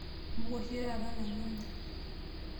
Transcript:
Mbuka oshi taata nanu anya.